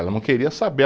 Ela não queria saber.